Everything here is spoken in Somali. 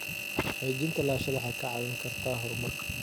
Xaqiijinta lahaanshaha waxay kaa caawin kartaa horumarka.